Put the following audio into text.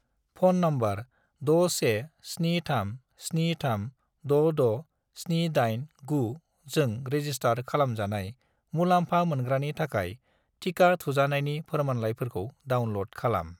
Phone number 61737366789 जों register खालामजानाय मुलामफा मोनग्रानि थाखाय टिका थुजानायनि फोरमानलाइफोरखौ डाउनल'ड खालाम।